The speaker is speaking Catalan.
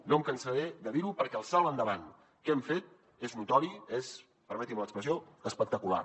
no em cansaré de dir ho perquè el salt endavant que hem fet és notori és permetin me l’expressió espectacular